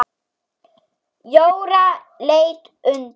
Jóra leit undan.